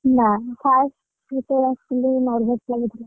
ନାଇଁ first ଯେତବେଳେ ଆସିଥିଲି nervous ଲାଗୁଥିଲା।